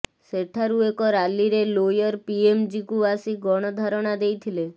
ସେଠାରୁ ଏକ ରାଲିରେ ଲୋୟର ପିଏମ୍ଜିକୁ ଆସି ଗଣଧାରଣା ଦେଇଥିଲେ